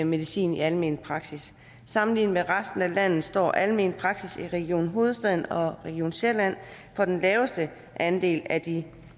medicin i almen praksis sammenlignet med resten af landet står almen praksis i region hovedstaden og region sjælland for den laveste andel af de